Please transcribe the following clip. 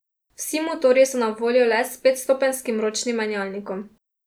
Vsi motorji so na voljo le s petstopenjskim ročnim menjalnikom.